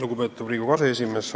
Lugupeetav Riigikogu aseesimees!